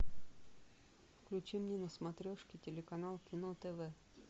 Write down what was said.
включи мне на смотрешке телеканал кино тв